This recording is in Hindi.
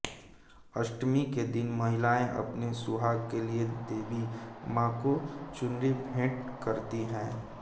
अष्टमी के दिन महिलाएं अपने सुहाग के लिए देवी मां को चुनरी भेंट करती हैं